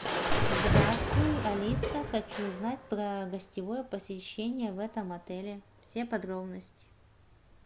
здравствуй алиса хочу узнать про гостевое посещение в этом отеле все подробности